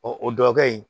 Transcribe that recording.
o dɔ kɛ in